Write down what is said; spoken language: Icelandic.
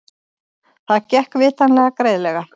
Það gekk vitanlega greiðlega.